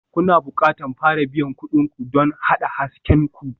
Kuna buƙatar fara biyan kuɗin ku don haɗa hasken ku.